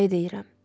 Ayı deyirəm.